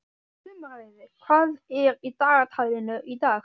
Sumarliði, hvað er í dagatalinu í dag?